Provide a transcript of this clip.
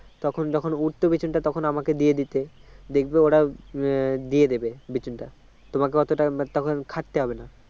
তখন যখন উঠতো বিচুনটা তখন আমাকে দিয়ে দিতে দেখবে ওরা দিয়ে দেবে বিচুনটা তোমাকে অতটা তখন খাটতে হবে না